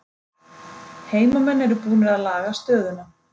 Heimamenn eru búnir að laga stöðuna